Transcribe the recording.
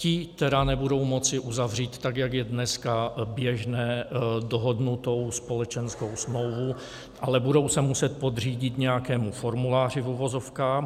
Ti tedy nebudou moci uzavřít, tak jak je dneska běžné, dohodnutou společenskou smlouvu, ale budou se muset podřídit nějakému formuláři v uvozovkách.